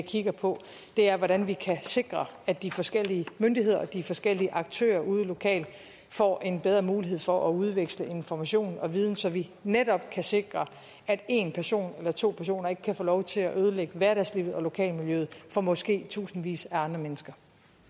kigger på er hvordan vi kan sikre at de forskellige myndigheder og de forskellige aktører ude lokalt får en bedre mulighed for at udveksle information og viden så vi netop kan sikre at en person eller to personer ikke kan få lov til at ødelægge hverdagslivet og lokalmiljøet for måske tusindvis af andre mennesker